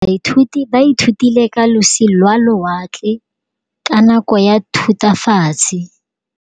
Baithuti ba ithutile ka losi lwa lewatle ka nako ya Thutafatshe.